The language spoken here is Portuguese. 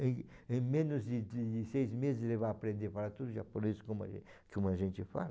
Em em menos de de seis meses ele vai aprender a falar tudo japonês como como a gente fala?